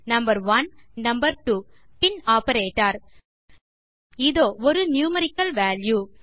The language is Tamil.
நம்பர்1 நம்பர்2 பின் ஆப்பரேட்டர் இதோ ஒரு நியூமெரிக்கல் வால்யூ